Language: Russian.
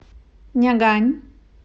нягань